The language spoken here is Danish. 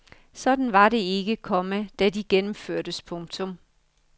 Sådan var det ikke, komma da de gennemførtes. punktum